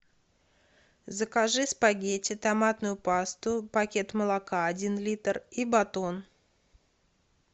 закажи спагетти томатную пасту пакет молока один литр и батон